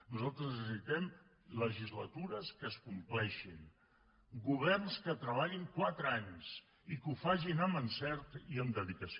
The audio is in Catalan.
nosaltres necessitem legislatures que es compleixin governs que treballin quatre anys i que ho facin amb encert i dedicació